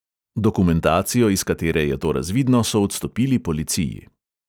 Dokumentacijo, iz katere je to razvidno, so odstopili policiji.